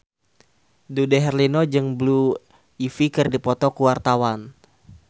Dude Herlino jeung Blue Ivy keur dipoto ku wartawan